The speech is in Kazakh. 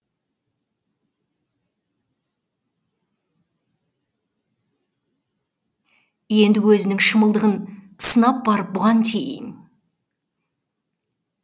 енді өзінің шалымдылығын сынап барып бұған тиейін